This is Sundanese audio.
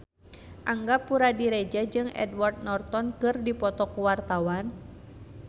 Angga Puradiredja jeung Edward Norton keur dipoto ku wartawan